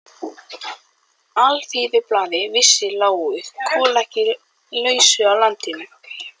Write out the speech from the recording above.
Alþýðublaðið vissi, lágu kol ekki á lausu í landinu.